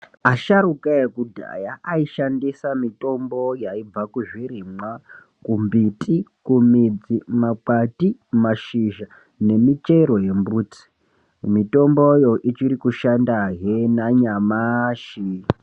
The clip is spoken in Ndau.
Asharuka ekudhaya aishandisa mitombo yaibva kuzvirimwa, kumbiti, kumidzi, kuma kwati, kumashizha nemichero yembuti. Mitomboyo ichiri kushandahe nanyamashi.